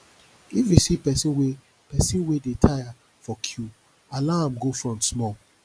if you see person wey person wey dey tire for queue allow am go front small